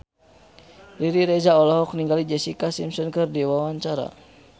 Riri Reza olohok ningali Jessica Simpson keur diwawancara